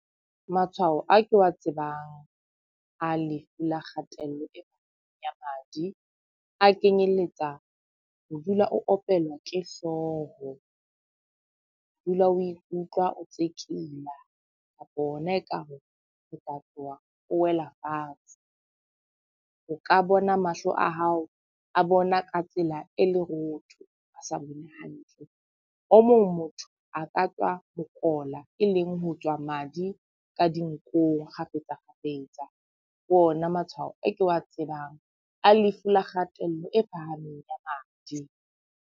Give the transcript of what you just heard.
Matshwao a ke wa tsebang a lefu la kgatello ya madi a kenyelletsa ho dula o opelwa ke hlooho, ho dula o ikutlwa o tsekela kapa ona ekare ho ka tloha o wela fatshe. O ka bona mahlo a hao a bona ka tsela e lerotho, a sa bone hantle. O mong motho a ka tswa mokola, e leng ho tswa madi ka dinkong kgafetsa kgafetsa. Ke o na matshwao a ke wa tsebang a lefu la kgatello e phahameng ya madi.